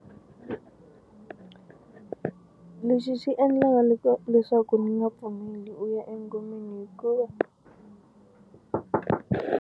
Lexi xi endlaka leswaku ni nga pfumeli u ya engomeni hikuva.